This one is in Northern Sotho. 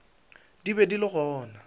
di be di le gona